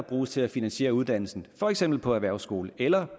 bruges til at finansiere uddannelsen for eksempel på erhvervsskole eller